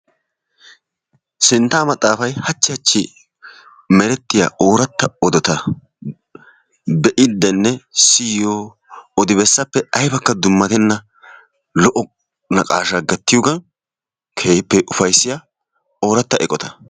Sinttaa maxaafay haachchi haachchi merettiyaa oratta oodota be"iidinne siyiyoo odi bessaappe aybbakka dummattenna. lo"o naqashshaa gattiyoogan keehippe upayssiyaa ooratta eqotta.